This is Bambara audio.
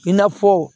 I n'a fɔ